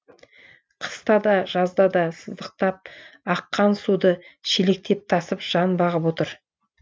қыста да жазда да сыздықтап аққан суды шелектеп тасып жан бағып отыр